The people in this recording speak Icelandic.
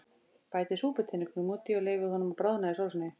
Bætið súputeningnum út í og leyfið honum að bráðna í sósunni.